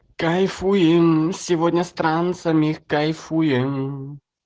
кайфуем сегодня с трансами кайфуем